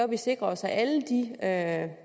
vi sikrer os at